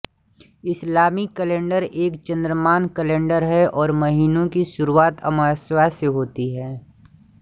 इस्लामी calendar एक चांद्रमान calendar है और महीनों की शुरुआत अमावस्या को होती है